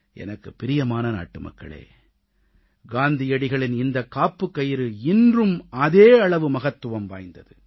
எனக்குப் பிரியமான நாட்டுமக்களே காந்தியடிகளின் இந்தக் காப்புக் கயிறு இன்றும் அதே அளவு மகத்துவம் வாய்ந்தது